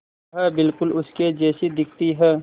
वह बिल्कुल उसके जैसी दिखती है